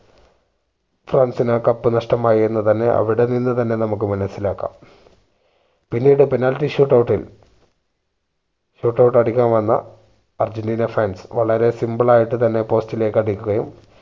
ഫ്രാൻസിന് ആ cup നഷ്ടമായി എന്ന് തന്നെ അവിടെ നിന്ന് തന്നെ നമുക്ക് മനസ്സിലാക്കം പിന്നീട് penalty shoot out ഇൽ shoot out അടിക്കാൻ വന്ന അർജന്റീന fans വളരെ simple ആയിട്ട് തന്നെ post ലേക്ക് അടിക്കുകയും